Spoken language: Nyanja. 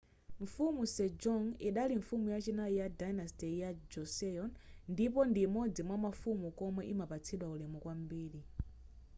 mfumu sejong idali mfumu yachinayi ya dynasty ya joseon ndipo ndi imodzi mwamafumu omwe imapatsidwa ulemu kwambiri